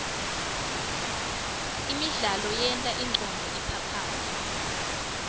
imidlalo yenta ingcondvo iphaphame